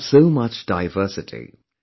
We have so much diversity